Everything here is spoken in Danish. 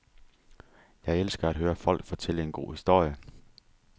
Jeg elsker at høre folk fortælle en god historie.